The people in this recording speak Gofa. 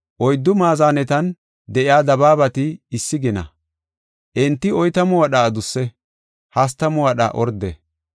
Oyddu maazanetan de7iya dabaabati issi gina; enti oytamu wadha adusse; hastamu wadha orde.